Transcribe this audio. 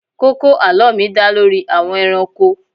Kókó àlọ́ mi dá lórí àwọn ẹranko.